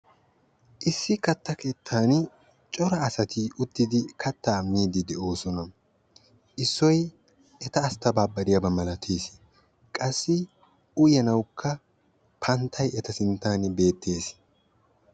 Issi katta keettan cora asati uttidi kattaa miiddi de'oosona. Issoy eta asttabaabbariyaaba malates. Qassi uyanawukka panttay eta sinttan beettes.